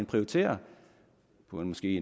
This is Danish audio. prioriterer på en måske